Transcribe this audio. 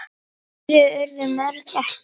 Fleiri urðu mörkin ekki.